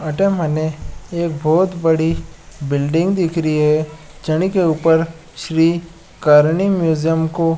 अठे मने एक बोहोत बड़ी बिल्डिंग दिख री है जनिके ऊपर श्री करणी म्यूजियम को --